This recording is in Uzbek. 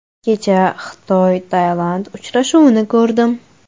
Kecha XitoyTailand uchrashuvini ko‘rdim.